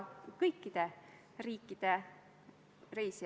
Aitäh!